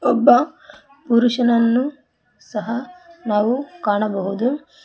ಒಬ್ಬ ಪುರುಷನನ್ನು ಸಹ ನಾವು ಕಾಣಬಹುದು.